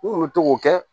N kun mi to k'o kɛ